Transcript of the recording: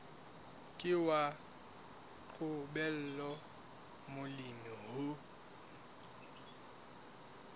ke wa qobella molemi ho